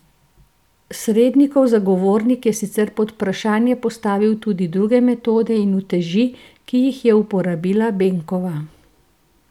Srednikov zagovornik je sicer pod vprašanje postavil tudi druge metode in uteži, ki jih je uporabila Benkova.